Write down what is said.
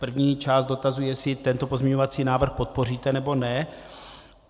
První část dotazu - jestli tento pozměňovací návrh podpoříte, nebo ne.